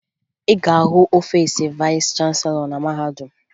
Ị ga-ahụ ọfiisi vayịs chanselọ na mahadum